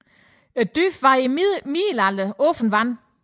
Dybet var i middelalderen åbent vand